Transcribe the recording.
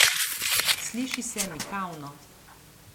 Sliši se mikavno.